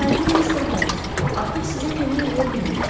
Hörmətli mister Holms, artıq sizə kömək eləyə bilməyəcəm.